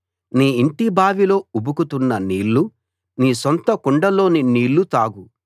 నీ ఇంటి బావిలో ఉబుకుతున్న నీళ్ళు నీ సొంత కుండలోని నీళ్లు తాగు